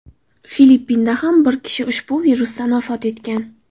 Filippinda ham bir kishi ushbu virusdan vafot etgan.